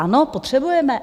Ano, potřebujeme.